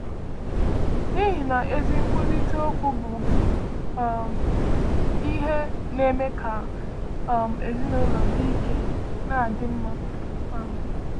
N’ihi na ezi nkwurịta okwu bụ um ihe na-eme ka um ezinụlọ dị ike na-adị mma. um